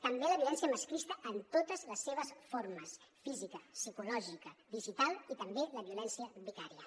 també la violència masclista en totes les seves formes física psicològica digital i també la violència vicària